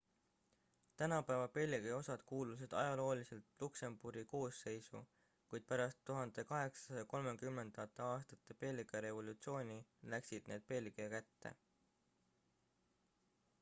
tänapäeva belgia osad kuulusid ajalooliselt luksemburgi koosseisu kuid pärast 1830ndate aastate belgia revolutsiooni läksid need belgia kätte